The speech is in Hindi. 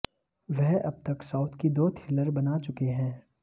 वह अब तक साउथ की दो थ्रिलर बना चुके हैं